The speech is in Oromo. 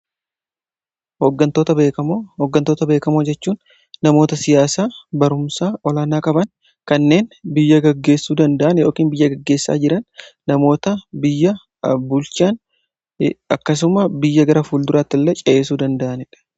hooggantoota beekamoo jechuun namoota siyaasaa barumsa olaanaa qaban kanneen biyya gaggeessuu danda'an yookiin biyya gaggeessaa jiran, namoota biyya bulchan akkasumas biyya gara fuulduraatti illee ceesisuu danda'anii dha.